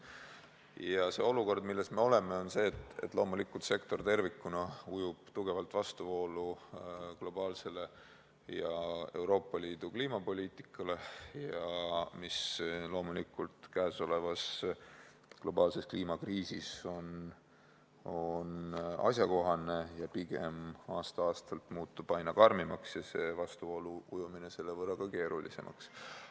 Ja see olukord, milles me oleme, on see, et sektor tervikuna ujub tugevalt vastuvoolu globaalsele ja Euroopa Liidu kliimapoliitikale, mis käesolevas globaalses kliimakriisis on loomulikult asjakohane ja muutub pigem aasta-aastalt aina karmimaks ja see vastuvoolu ujumine selle võrra ka keerulisemaks.